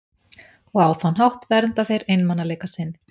Og á þann hátt vernda þeir einmanaleika sinn.